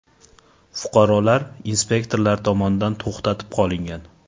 Fuqarolar inspektorlar tomonidan to‘xtatib qolingan.